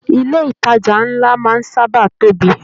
Ilé ìtàjà nlá máa n sábà tóbi.